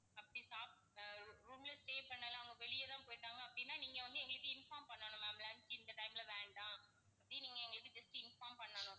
அப்படி சாப்~ ah room ல stay பண்ணல அவங்க வெளியதான் போயிட்டாங்க அப்படின்னா நீங்க வந்து எங்களுக்கு inform பண்ணணும் ma'am lunch இந்த time ல வேண்டாம் அப்படி நீங்க just inform பண்ணணும்.